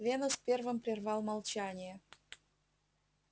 венус первым прервал молчание